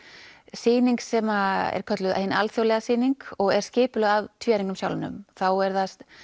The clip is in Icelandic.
sýning sem er kölluð hin alþjóðlega sýning og er skipulögð af sjálfum þá er